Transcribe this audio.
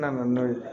N nana n'o ye